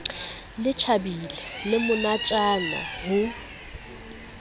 le tjhabile le monatjana ho